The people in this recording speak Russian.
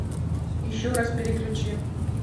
еще раз переключи